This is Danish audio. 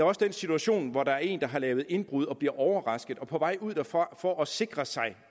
også den situation hvor der er en der har lavet et indbrud og bliver overrasket og på vej ud derfra for at sikre sig